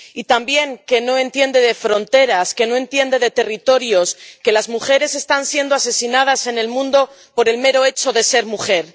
Y también que no entiende de fronteras, que no entiende de territorios, que las mujeres están siendo asesinadas en el mundo por el mero hecho de ser mujer.